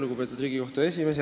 Lugupeetud Riigikohtu esimees!